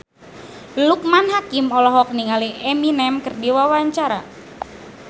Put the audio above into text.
Loekman Hakim olohok ningali Eminem keur diwawancara